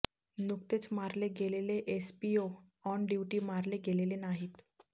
नुकतेच मारले गेलेले एसपीओ ऑन ड्युटी मारले गेलेले नाहीत